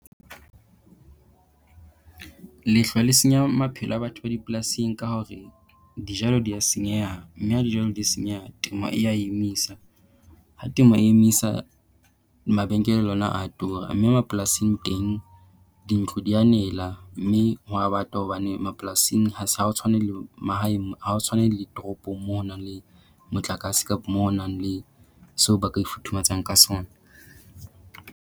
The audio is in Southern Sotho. Lehlwa le senya maphelo a batho ba dipolasing ka hore dijalo dia senyeha, mme ha dijalo di senyeha temo e ya emisa. Ha temo e emisa mabenkele le ona a tura. Mme mapolasing teng dintlo dia nela mme ho a bata hobane mapolasing ha ha o tshwane le mahaeng ha ho tshwane le toropong mo honang le motlakase mo ho nang le seo ba ka ifuthumatsang ka sona.